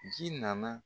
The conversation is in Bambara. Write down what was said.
Ji nana